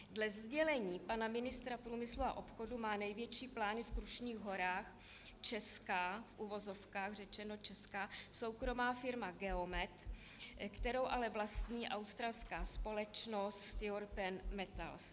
Dle sdělení pana ministra průmyslu a obchodu má největší plány v Krušných Horách česká, v uvozovkách řečeno česká, soukromá firma Geomet, kterou ale vlastní australská společnost European Metals.